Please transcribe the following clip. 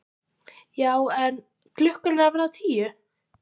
Já en. klukkan er að verða tíu!